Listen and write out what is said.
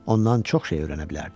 Ondan çox şey öyrənə bilərdi.